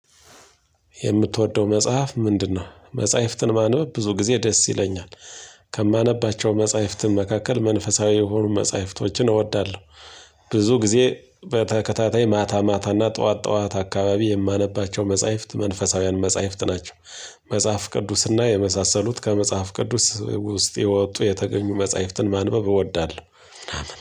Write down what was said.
የምትወደው መጽሐፍ ምንድነው? መጽሐፍትን ማንበብ ብዙ ጊዜ ደስ ይለኛል። ከማነባቸው መጽሐፍትን መካከል መንፈሳዊ የሆኑ መጽሐፍቶችን እወዳለሁ። ብዙ ጊዜ በተከታታይ ማታ ማታ እና ጠዋት ጠዋት አካባቢ የማነባቸው መጽሐፍት መንፈሳውያን መጽሐፍት ናቸው። መጽሐፍ ቅዱስና የመሳሰሉት ከመጽሐፍ ቅዱስ ውስጥ የወጡ የተገኙ መጽሐፍትን ማንበብ እወዳለሁ።